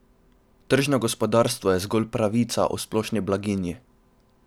Tržno gospodarstvo je zgolj pravljica o splošni blaginji.